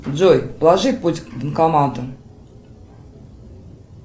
джой проложи путь к банкомату